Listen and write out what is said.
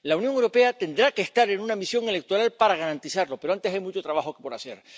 La Unión Europea tendrá que estar en una misión electoral para garantizarlo, pero antes hay mucho trabajo por hacer.